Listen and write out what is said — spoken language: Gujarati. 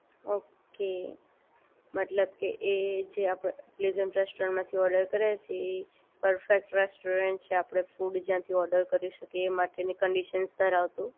ઓક એ મતલબ કે એ જે આપણે પ્લેઝરનો હોટેલમાંથી ઓર્ડર કર્યો છે એ પરફેક્ટ રેસ્ટોરન્ટ છે આપણે ફૂડ જ્યાંથી ઓર્ડર કરી શકીએ એ માટેની કન્ડિશન ધરાવતું